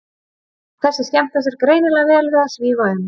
Þessi skemmta sér greinilega vel við að svífa um.